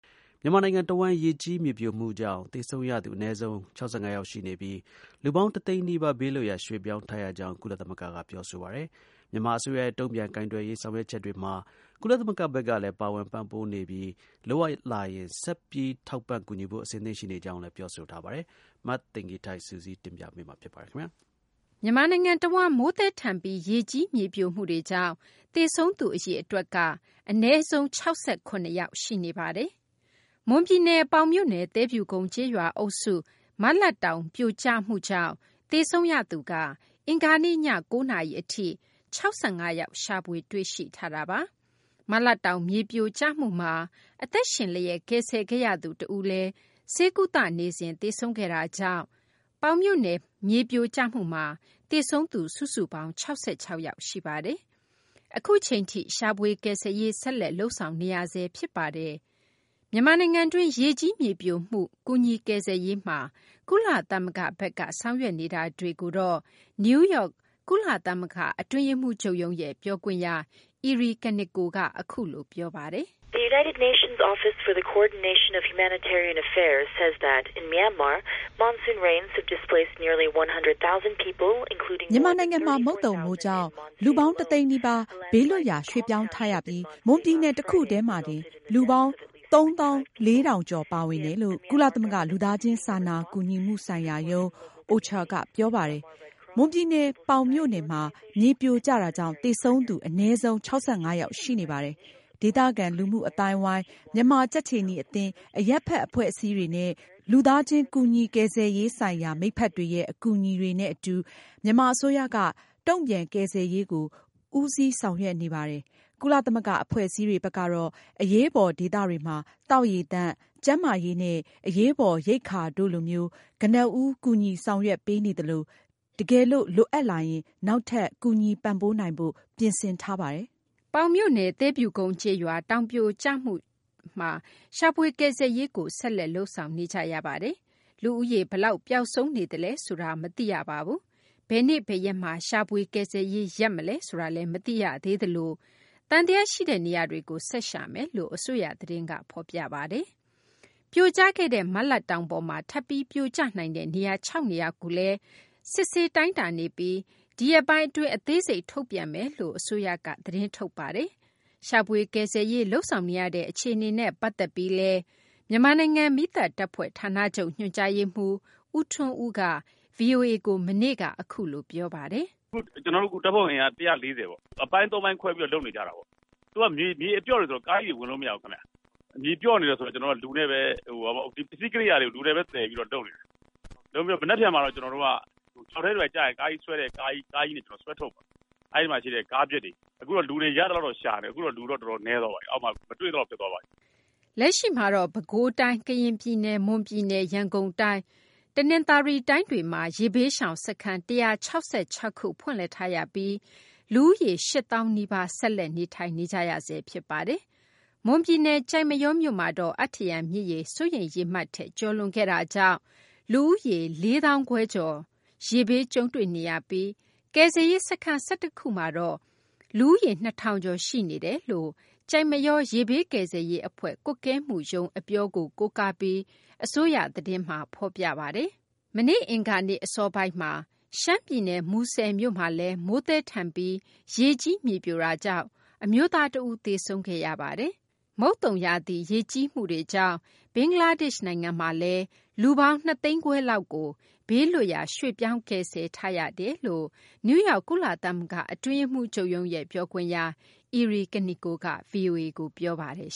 မြန်မာနိုင်ငံတဝန်း ရေကြီး မြေပြိုမှုကြောင့် သေဆုံးရသူ အနည်းဆုံး ၆၅ ယောက် ရှိနေပြီး လူပေါင်း ၁ သိန်းနီးပါး ဘေးလွတ်ရာ ရွှေ့ပြောင်းထားရကြောင်း ကုလသမဂ္ဂက ပြောဆိုပါတယ်။ မြန်မာ အစိုးရရဲ့ တုံ့ပြန်ကိုင်တွယ်ရေး ဆောင်ရွက်ချက်တွေမှာ ကုလသမဂ္ဂဘက်ကလည်း ပါဝင် ပံ့ပိုးနေပြီး လိုအပ်လာရင် ဆက်ပြီး ထောက်ပံ့ကူညီဖို့ အဆင်သင့် ရှိနေကြောင်းလည်း ပြောဆိုထားပါတယ်။ မသိင်္ဂ ီထိုက် စုစည်းတင်ပြပေးမှာပါ။ မြန်မာနိုင်ငံ တဝန်းမှာ မိုးသည်းထန်ပြီး ရေကြီး မြေပြိုမှုတွေကြောင့် သေဆုံးရသူ အရေအတွက်က အနည်းဆုံး ၆၇ ယောက် ရှိနေပါတယ်။ မွန်ပြည်နယ် ပေါင်မြို့နယ် သဲဖြူကုန်း ကျေးရွာအုပ်စုမှာ မလတ်တောင် ပြိုကျမှုကြောင့် သေဆုံးရသူက အင်္ဂါနေ့ည ၉ နာရီ အထိ ၆၅ ယောက် ရှာဖွေ တွေ့ရှိထားပါတယ်။ မလတ်တောင် မြေပြိုကျမှုမှာ အသက်ရှင်လျက် ကယ်ဆယ်ခဲ့ရသူ တဦးလည်း ဆေးကုသနေစဉ် သေဆုံးခဲ့တာကြောင့် ပေါင်မြို့နယ် မြေပြိုကျမှုမှာ သေဆုံးသူ စုစုပေါင်း ၆၆ ယောက် ရှိနေပါတယ်။ အခုအချိန်ထိ ရှာဖွေ ကယ်ဆယ်ရေး ဆက်လက် လုပ်ဆောင်နေရဆဲ ဖြစ်ပါတယ်။ မြန်မာနိုင်ငံတွင်း ရေကြီး မြေပြိုမှု ကူညီကယ်ဆယ်ရေးမှာ ကုလသမဂ္ဂဘက်က ဆောင်ရွက်နေတာတွေကို နယူးယောက် ကုလသမဂ္ဂ အတွင်းရေးမှူးချုပ်ရုံးရဲ့ ပြောခွင့်ရ EriKaneko က အခုလို ပြောပါတယ်။ “မြန်မာနိုင်ငံမှာ မုတ်သုံမိုးကြောင့် လူပေါင်း တသိန်းနီးပါး ဘေးလွတ်ရာ ရွှေ့ပြောင်းထားရပြီး မွန်ပြည်နယ် တခုတည်းမှာတင် လူပေါင်း ၃၄၀၀၀ ကျော် ပါဝင်တယ်လို့ ကုလသမဂ္ဂ လူသားချင်းစာနာကူညီမှုဆိုင်ရာရုံး OCHA က ပြောပါတယ်။ မွန်ပြည်နယ် ပေါင်မြို့နယ်မှာ မြေပြိုကျတာကြောင့် သေဆုံးသူ အနည်းဆုံး ၆၅ ယောက် ရှိနေပါတယ်။ ဒေသခံ လူမှု အသိုင်းအဝိုင်း၊ မြန်မာ ကြက်ခြေနီအသင်း၊ အရပ်ဖက် အဖွဲ့အစည်းတွေနဲ့ လူသားချင်း ကူညီကယ်ဆယ်ရေးဆိုင်ရာ မိတ်ဖက်တွေရဲ့ အကူအညီတွေနဲ့ အတူ မြန်မာ အစိုးရက တုံ့ပြန် ကယ်ဆယ်ရေးကို ဦးစီးဆောင်ရွက်နေပါတယ်။ ကုလသမဂ္ဂ အဖွဲ့အစည်းတွေဘက်ကတော့ အရေးပေါ် ဒေသတွေမှာ သောက်ရေသန့်၊ ကျန်းမာရေးနဲ့ အရေးပေါ် ရိက္ခာတို့လိုမျိုး ကနဦး ကူညီဆောင်ရွက်ပေးနေသလို တကယ်လို့ လိုအပ်လာရင် နောက်ထပ် ကူညီပံ့ပိုးနိုင်ဖို့ ပြင်ဆင်ထားပါတယ်။” ပေါင်မြို့နယ် သဲဖြူကုန်း ကျေးရွာ တောင်ပြိုကျမှုမှာတော့ ရှာဖွေကယ်ဆယ်ရေးကို ဆက်လက် လုပ်ဆောင်နေကြရပါတယ်။ လူဦးရေ ဘယ်လောက် ပျောက်ဆုံးနေသလဲ ဆိုတာတော့ မသိရပါဘူး။ ဘယ်နေ့ ဘယ်ရက်မှာ ရှာဖွေ ကယ်ဆယ်ရေး ရပ်နားမလဲ ဆိုတာလည်း မသိရသေးသလို သံသယ ရှိတဲ့ နေရာတွေကို ဆက်ရှာမယ်လို့ အစိုးရ သတင်းမှာ ဖော်ပြထားပါတယ်။ ပြိုကျခဲ့တဲ့ မလတ်တောင်ပေါ်မှာ ထပ်ပြီး ပြိုကျနိုင်တဲ့ နေရာ ၆ နေရာကိုလည်း စစ်ဆေးတိုင်းတာနေပြီး ဒီရက်ပိုင်း အတွင်း အသေးစိတ် ထုတ်ပြန်ပေးမယ်လို့ အစိုးရက သတင်းထုတ်ထားပါတယ်။ ရှာဖွေ ကယ်ဆယ်ရေး လုပ်ဆောင်နေရတဲ့ အခြေအနေနဲ့ ပတ်သက်ပြီးလည်း မြန်မာနိုင်ငံ မီးသတ်တပ်ဖွဲ့ ဌာနချုပ် ညွှန်ကြားရေးမှူး ဦးထွန်းဦးက ဗွီအိုအေကို မနေ့က အခုလို ပြောဆိုထားပါတယ်။ “ကျနော်တို့အခု တပ်ဖွဲ့အင်အား ၁၄၀ ပေါ့ ။ အပိုင်း ၃ ပိုင်းခွဲပြီးတော့ လုပ်နေကြတာပေါ့။ သူက မြေအပျော့တွေ ဆိုတော့ ကားကြီးတွေ ဝင်လို့မရဘူး။ မြေပျော့နေတယ်ဆိုတော့ ပစ္စည်းကရိယာတွေကို လူနဲ့ပဲ သယ်ပြီးတော့ လုပ်နေတာပေါ့။ မနက်ဖြန်မှာတော့ကျနော်တို့ ချောက်ထဲတွေ ဘာတွေကျရင် ကားကြီးဆွဲတဲ့ကားကြီးနဲ့ ဆွဲထုတ်မယ်။ အဲ့မှာရှိတဲ့ ကားပျက်တွေကို။ အခုတော့ လူတွေကို ရသလောက်တော့ ရှာနေတယ်။ အခုတော့ လူတော့တော်တော်နည်းသွားပါပြီ အောက်မှာ မတွေ့သလောက် ဖြစ်သွားပြီ။" လက်ရှိမှာတော့ ပဲခူးတိုင်း၊ ကရင်ပြည်နယ်၊ မွန်ပြည်နယ်၊ ရန်ကုန်တိုင်း၊ တနသာၤရီတိုင်းတွေမှာ ရေဘေးရှောင် စခန်း ၁၆၆ ခု ဖွင့်လှစ်ထားရပြီး လူဦးရေ ၈၀၀၀၀ နီးပါး ဆက်လက် နေထိုင်နေကြရဆဲ ဖြစ်ပါတယ်။ မွန်ပြည်နယ် ကျိုက်မရောမြို့မှာတော့ အတ္တရံ မြစ်ရေ စိုးရိမ်ရေမှတ်ထက် ကျော်လွန်ခဲ့တာကြောင့် လူဦးရေ ၄၅၀၀၀ ကျော်ကို ရေဘေးကြုံတွေ့နေရပြီး ကယ်ဆယ်ရေး စခန်း ၁၁ ခုမှာတော့ လူဦးရေ ၂၀၀၀ ကျော် ရှိနေကြောင်း ကျိုက်မရော ရေဘေးကယ်ဆယ်ရေး အဖွဲ့ ကွပ်ကဲမှုရုံးက အပြောကို ကိုးကားပြီး အစိုးရ သတင်းမှာ ဖော်ပြပါတယ်။ မနေ့ အင်္ဂါနေ့ အစောပိုင်းမှာ ရှမ်းပြည်နယ် မူဆယ်မြို့မှာလည်း မိုးသည်းထန်ပြီး ရေကြီး မြေပြိုကျမှုကြောင့် အမျိုးသား တဦး သေဆုံးခဲ့ပါတယ်။ မုတ်သုံရာသီ ရေကြီးမှုတွေကြောင့် ဘင်္ဂလားဒေရှ့် နိုင်ငံမှာလည်း လူပေါင်း ၂ သိန်းခွဲလောက်ကို ဘေးလွတ်ရာ ရွှေ့ပြောင်း ကယ်ဆယ်ထားရကြောင်း နယူးယောက် ကုလသမဂ္ဂ အတွင်းရေးမှူးချုပ်ရုံးရဲ့ ပြောခွင့်ရ Eri Kaneko က VOA ကိုပြောပါတယ်